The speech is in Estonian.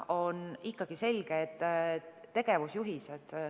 On ikkagi selge, et tegevusjuhiseid.